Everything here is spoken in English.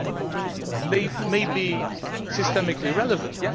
Yes, they may be systemically relevant